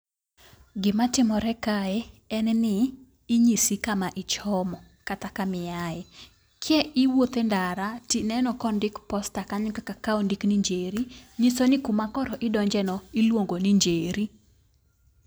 Gima timore kae en ni inyisi kama ichomo kata kama iae. Ki iwuothe ndara tineno Kondik posta kanyo kaka ka ondik ni Njeri, nyiso ni kuma koro idonjone iluongo ni Njeri.